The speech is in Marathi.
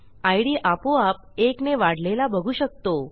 idआपोआप एकने वाढलेला बघू शकतो